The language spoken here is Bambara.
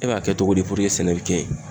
E b'a kɛ cogo di puruke sɛnɛ bɛ kɛ yen?